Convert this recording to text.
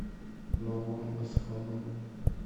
новым осколом